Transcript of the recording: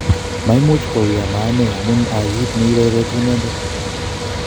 Maimuch kwo wui koma ane, amun kia git ne ipoipoite inendet.